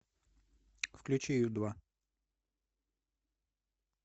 включи ю два